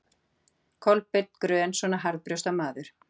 Kolbeinn grön svona harðbrjósta maður?